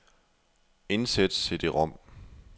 Indsæt cd-rom.